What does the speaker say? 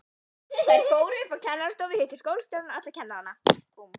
Þær fóru upp á kennarastofu, hittu skólastjórann og alla kennarana.